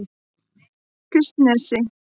Kristnesi